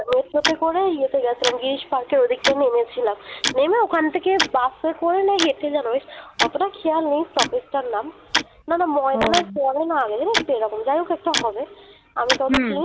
road show তে করে ইয়েতে গেছিলাম girish park এর ওদিক টা নেমেছিলাম নেমে ওখান থেকে bus এ করে না ইয়েতে অতটাও খেয়াল নেই stoppage টার নাম না না ময়দা না পড়ে না আগে যাই হোক একটা হবে আমি